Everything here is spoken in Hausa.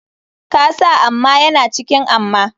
Kasa amma yana cikin amma.